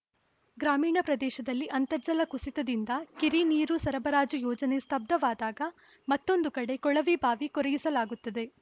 ಗ್ರಾಮೀಣ ಪ್ರದೇಶದಲ್ಲಿ ಅಂತರ್ಜಲ ಕುಸಿತದಿಂದ ಕಿರಿನೀರು ಸರಬರಾಜು ಯೋಜನೆ ಸ್ಪಬ್ದವಾದಾಗ ಮತ್ತೊಂದು ಕಡೆ ಕೊಳವೆ ಬಾವಿ ಕೊರೆಯಿಸಲಾಗುತ್ತದೆ